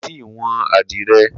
Ko ti wọn adirẹ